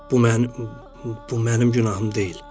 Bu mənim bu mənim günahım deyil.